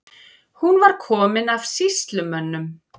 Hún var komin af sýslumönnum.